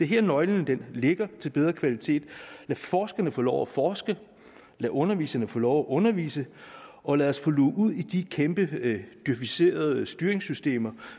her nøglen ligger til bedre kvalitet lad forskerne få lov at forske lad underviserne få lov at undervise og lad os få luget ud i de kæmpe djøficerede styringssystemer